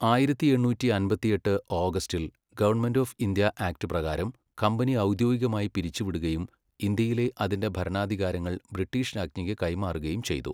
ആയിരത്തി എണ്ണൂറ്റി അമ്പത്തിയെട്ട് ഓഗസ്റ്റിൽ ഗവൺമെൻ്റ് ഓഫ് ഇന്ത്യാ ആക്റ്റ് പ്രകാരം കമ്പനി ഔദ്യോഗികമായി പിരിച്ചുവിടുകയും ഇന്ത്യയിലെ അതിന്റെ ഭരണാധികാരങ്ങൾ ബ്രിട്ടീഷ് രാജ്ഞിക്ക് കൈമാറുകയും ചെയ്തു.